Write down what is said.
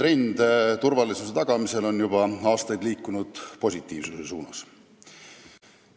Üldine trend turvalisuse tagamisel on juba aastaid liikunud positiivsuse suunas.